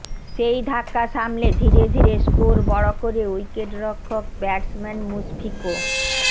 সেই ধাক্কা সামলে ধীরে ধীরে স্কোর বড় করে উইকেটরক্ষক ব্যাটসম্যান মুশফিক ও